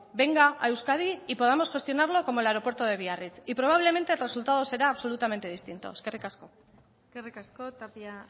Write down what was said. venga a euskadi y podamos gestionarlo como el aeropuerto de biarritz y probablemente el resultado será absolutamente distinto eskerrik asko eskerrik asko tapia